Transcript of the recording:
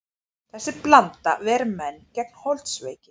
Þessi blanda ver menn gegn holdsveiki.